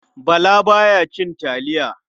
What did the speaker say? Bala ba ya cin taliya.